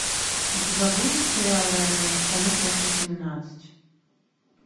у тебя будет сериал реальные пацаны часть восемнадцать